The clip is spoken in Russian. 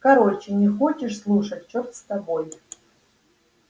короче не хочешь слушать черт с тобой